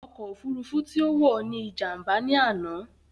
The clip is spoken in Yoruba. Ọkọ̀ òfurufú tí ó wò ní Ìjàm̀bá ní àná